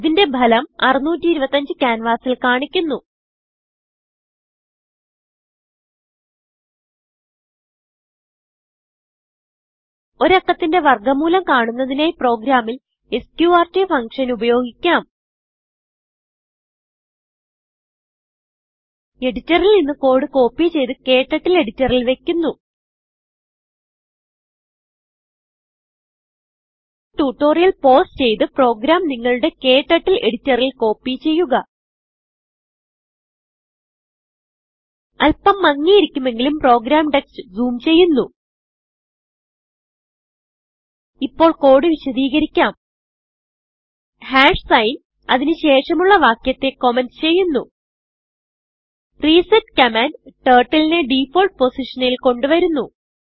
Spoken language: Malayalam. ഇതിന്റെ ഭലം 625ക്യാൻവാസിൽ കാണിക്കുന്നു ഒരു അക്കത്തിന്റെ വർഗ മൂലം കാണുന്നതിനായി പ്രോഗ്രാമിൽ എസ്ക്യൂആർടി ഫങ്ഷൻ ഉപയോഗിക്കാം എഡിറ്ററിൽ നിന്ന് കോഡ് കോപ്പി ചെയ്ത് ക്ടർട്ടിൽ എഡിറ്ററിൽ വയ്ക്കുന്നു ട്യൂട്ടോറിയൽ പൌസ് ചെയ്ത് പ്രോഗ്രാം നിങ്ങളുടെ ക്ടർട്ടിൽ എഡിറ്ററിൽ കോപ്പി ചെയ്യുക അല്പം മങ്ങിയിരിക്കുമെങ്കിലും പ്രോഗ്രാം ടെക്സ്റ്റ് ജൂം ചെയ്യുന്നു ഇപ്പോൾ കോഡ് വിശദികരിക്കാം signഅതിന് ശേഷമുള്ള വാക്യത്തെ കമന്റ് ചെയ്യുന്നു റിസെറ്റ് കമാൻഡ് Turtleനെ ഡിഫോൾട്ട് പൊസിഷനിൽ കൊണ്ട് വരുന്നു